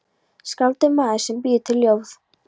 Skáld er maður sem býr til ljóð.